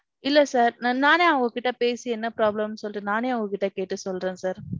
இல்ல sir நானே அவங்க கிட்ட பேசி என்ன problem னு சொல்லிட்டு நானே அவங்ககிட்ட கேட்டு சொல்றேன் sir.